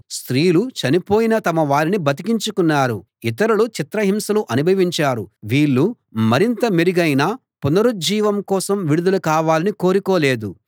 స్త్రీలు చనిపోయిన తమ వారిని బతికించుకున్నారు ఇతరులు చిత్రహింసలు అనుభవించారు వీళ్ళు మరింత మెరుగైన పునరుజ్జీవం కోసం విడుదల కావాలని కోరుకోలేదు